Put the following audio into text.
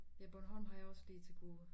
Ja Bornholm har jeg også lige til gode